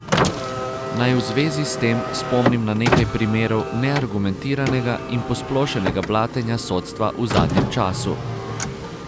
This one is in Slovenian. Naj v zvezi s tem spomnim na nekaj primerov neargumentiranega in posplošenega blatenja sodstva v zadnjem času.